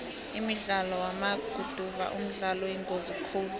umdlalo wamaguduva mdlalo oyingozi khulu